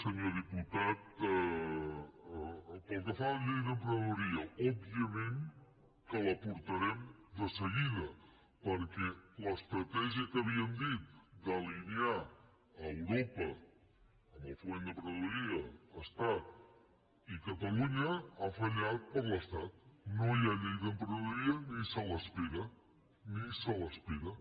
senyor diputat pel que fa a la llei d’emprenedoria òbviament que la portarem de seguida perquè l’estratègia que havíem dit d’alinear europa en el foment de l’emprenedoria estat i catalunya ha fallat per l’estat no hi ha llei d’emprenedoria ni se l’espera ni se l’espera